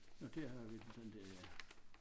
Nåh dér har jeg viklet den der ja